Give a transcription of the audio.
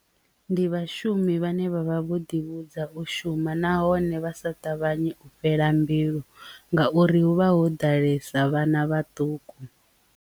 Ndi vhashumi vhane vhavha vho ḓivhudza u shuma nahone vha sa ṱavhanye u fhela mbilu ngauri hu vha ho ḓalesa vhana vhaṱuku.